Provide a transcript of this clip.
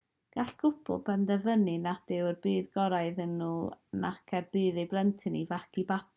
gall cwpl benderfynu nad yw er budd gorau iddyn nhw nac er budd eu plentyn i fagu babi